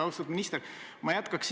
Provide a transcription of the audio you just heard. Austatud minister!